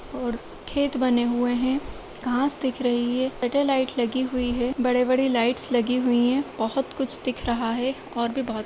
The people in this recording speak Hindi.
ओर खेत बने हुएँ हैं। घाँस दिख रही है। सैटेलाइट लाईट लगी हुई हैं। बड़े-बड़े लाइट्स लगी हुईं हैं। बहोत कुछ दिख रहा है। और भी ब --